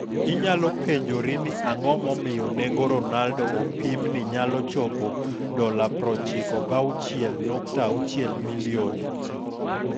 Inyalo penjori ni ang'o momiyo nengo Ronaldo opim ni nyalo chopo $96,6 milioni.